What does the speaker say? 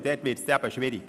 Damit wird es schwierig.